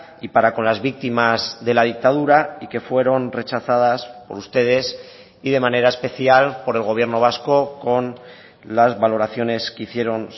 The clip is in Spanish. y para con las víctimas de la dictadura y que fueron rechazadas por ustedes y de manera especial por el gobierno vasco con las valoraciones que hicieron